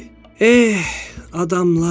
Eh, adamlar!